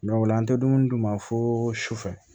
o la an tɛ dumuni d'u ma fo su fɛ